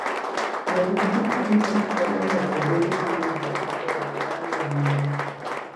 Ng'wech mar pikipiki konyo ng'ato bedo gi winjruok maber gi alwora modakie.